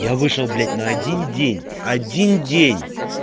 я вышел блять на один день один день